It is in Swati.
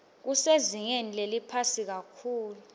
kusezingeni leliphansi kakhulu